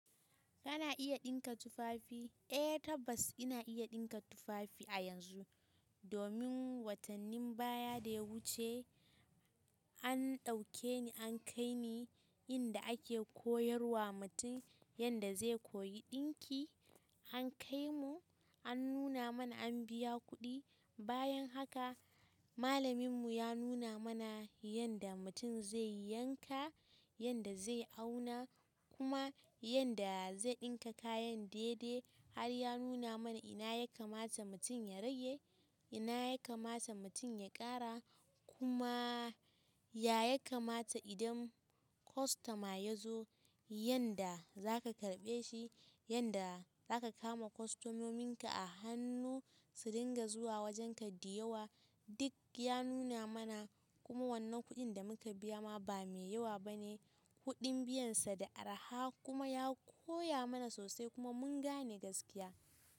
Kana iya ɗinka tupafi? Eh tabbas ina iya ɗinka tufafi a yanzu domin watannin baya da ya wuce an ɗauke ni an kai ni inda ake koyar wa mutum yanda zai koyi ɗinki. An kai mu an nuna mana an biya kuɗi. Bayan haka malamin mu ya nuna mana yanda mutum zai yanka, yanda zai auna kuma yanda zai ɗinka kayan daidai. Har ya nuna mana ina ya kamata mutum ya rage, ina ya kamata mutum ya ƙara kuma ya ya kamata idan kwastoma ya zo yanda zaka karɓe shi, yanda zaka kama kwastomomin ka a hannu su dinga zuwa wajenka diyawa. Dik ya nuna mana kuma wannan kuɗin da muka biya ma ba mai yawa bane. Kuɗin biyansa da arha kuma ya koya mana sosai kuma mun gane gaskiya.